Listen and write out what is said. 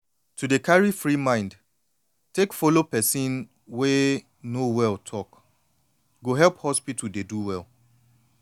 to dey carry free mind take follow person wey no well talk go help hospital dey do well